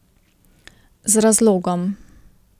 Z razlogom.